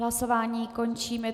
Hlasování končím.